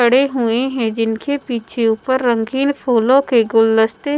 खड़े हुए हैं जिनके पीछे ऊपर रंगीन फूलों के गुलदस्ते--